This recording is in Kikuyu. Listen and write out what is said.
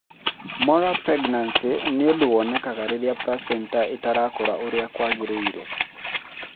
Molar pregnancy nĩ ũndũ wonekaga rĩrĩa placenta ĩtarakũra ũrĩa kwagĩrĩire.